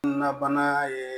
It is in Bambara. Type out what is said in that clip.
Na bana ye